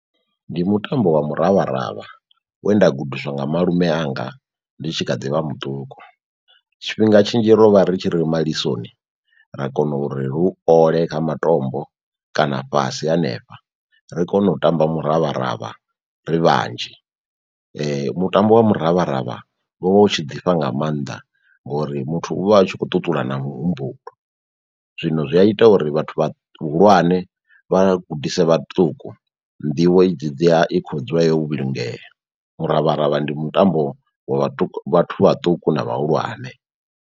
Ndi mutambo wa miravharavha wenda gudiswa nga malume anga ndi tshi kha ḓivha muṱuku. Tshifhinga tshinzhi ro vha ri tshi ri malisoni ra kona uri ri u ole kha matombo kana fhasi hanefha, ri kono u tamba muravharavha ri vhanzhi. Mutambo wa muravharavha wo vha u tshi ḓifha nga mannḓa ngori muthu uvha u tshi kho ṱuṱula na muhumbulo, zwino zwi a ita uri vhathu vha hulwane vha gudise vhaṱuku nḓivho idzi dzi a i kho dzula yo vhulungea. Muravharavha ndi mutambo wa vhaṱu vhathu vhaṱuku na vhahulwane.